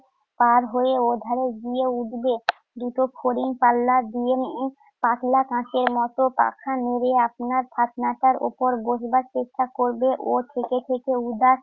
পাড় হয়ে ওধারে গিয়ে উঠবে। দুটো ফড়িং পাল্লা দিয়ে উম পাতলা কাঁচের মত পাখা নেড়ে আপনার টাক মাথার উপর বসবার চেষ্টা করবে ও থেকে থেকে উদাস